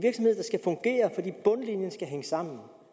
bundlinje der hænger sammen